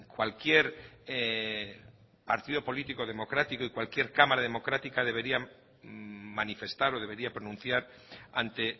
cualquier partido político democrático y cualquier cámara democrática debería manifestar o deberían pronunciar ante